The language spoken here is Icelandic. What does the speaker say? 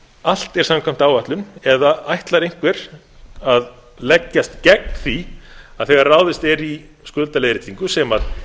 allt er samkvæmt áætlun eða ætlar einhver að leggjast gegn því að þegar ráðist er í skuldaleiðréttingu sem